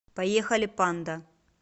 поехали панда